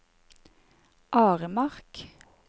Aremark